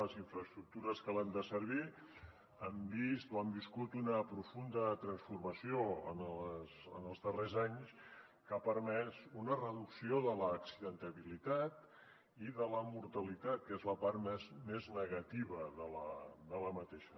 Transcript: les infraestructures que l’han de servir han vist o han viscut una profunda transformació en els darrers anys que ha permès una reducció de l’accidentalitat i de la mortalitat que és la part més negativa d’aquesta